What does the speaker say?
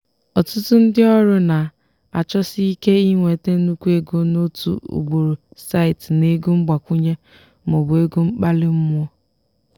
ọtụtụ ndị ọrụ na-achọsi ike inweta nnukwu ego n'otu ugboro site na ego mgbakwunye maọbụ ego mkpali mmụọ.